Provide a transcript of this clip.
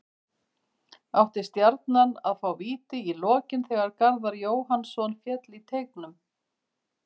Átti Stjarnan að fá víti í lokin þegar Garðar Jóhannsson féll í teignum?